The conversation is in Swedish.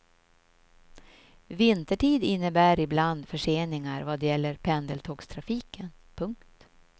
Vintertid innebär ibland förseningar vad gäller pendeltågstrafiken. punkt